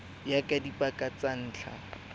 ya ka dipaka tsa ntlha